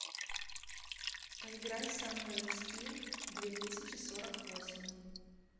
поиграй со мной в скил две тысячи сорок восемь